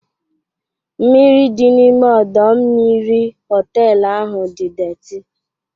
Mmiri dị n'ime ọdọ mmiri họtelu ahụ dị deeti.